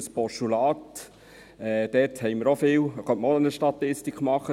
Dazu könnte man auch eine Statistik machen.